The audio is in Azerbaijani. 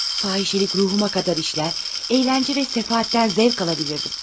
Fahişəlik ruhuma qədər işlər, əyləncə və səfahətdən zövq alabilirdim.